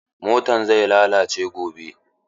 Motan zai lalace gobe.